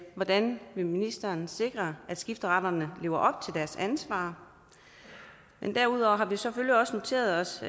hvordan vil ministeren sikre at skifteretterne lever op til deres ansvar men derudover har vi selvfølgelig også noteret os